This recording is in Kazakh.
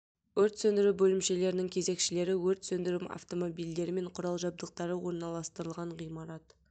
өрт сөндіру бөлімшелерінің кезекшілері өрт сөндіру автомобильдері мен құрал-жабдықтары орналастырылған ғимарат